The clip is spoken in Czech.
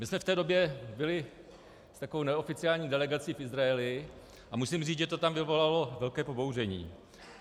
My jsme v té době byli s takovou neoficiální delegací v Izraeli a musím říct, že to tam vyvolalo velké pobouření.